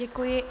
Děkuji.